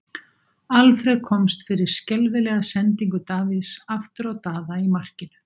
Alfreð komst fyrir skelfilega sendingu Davíðs aftur á Daða í markinu.